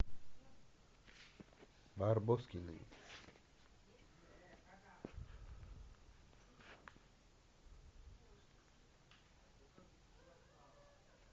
барбоскины